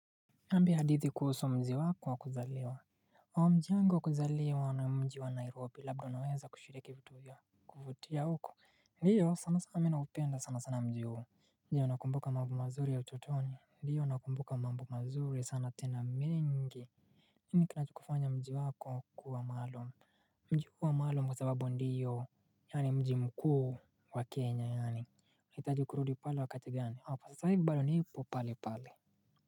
Niambie hadithi kuhusu mji wako wa kuzaliwa. Mji wangu wa kuzaliwa ni mji wa Nairobi. Labda unaweza kushiriki vitu vya kuvutia huko? Ndiyo, sana sana mi naupenda sana sana mji huo. Je, unakumbuka mambo mazuri ya utotoni? Ndiyo nakumbuka mambo mazuri sana tena mingi. Nini kinakufanya mji wako kuwa maalum? Mji huwa maalum kwa sababu ndiyo yaani mji mkuu wa Kenya yaani hitaji kurudi pale wakati gani? Saa hii bana nipo pale pale.